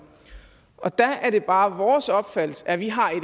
der er det bare vores opfattelse at vi har et